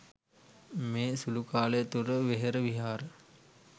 මේ සුළු කාලය තුළ වෙහෙර විහාර